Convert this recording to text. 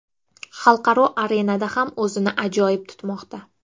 Xalqaro arenada ham o‘zini ajoyib tutmoqda.